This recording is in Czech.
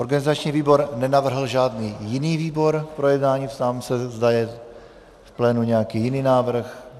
Organizační výbor nenavrhl žádný jiný výbor k projednání, ptám se, zda je v plénu nějaký jiný návrh.